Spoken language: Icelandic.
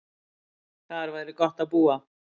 Þar væri gott að búa.